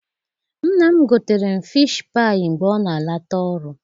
Nna m gotere m fishi paayị mgbe ọ na-ala ta ọrụ.